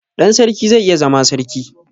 Ɗan sarki zai iya zama sarki